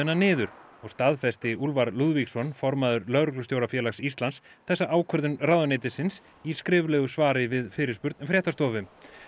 niður og staðfesti Úlfar Lúðvíksson formaður Lögreglustjórafélags Íslands þessa ákvörðun ráðuneytisins í skriflegu svari við fyrirspurn fréttastofu